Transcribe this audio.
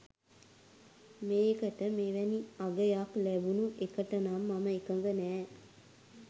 මේකට මෙවැනි අගයක් ලැබුනු එකටනම් මම එකඟ නෑ